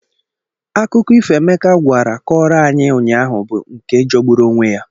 Akụkọ ifo Emeka gwara kọrọ ayi ụnyaahụ bụ nke jọgburu onwe ya.